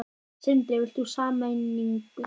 Sindri: Vilt þú sameiningu?